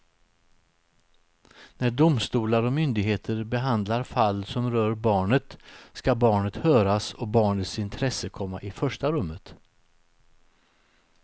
När domstolar och myndigheter behandlar fall som rör barnet ska barnet höras och barnets intresse komma i första rummet.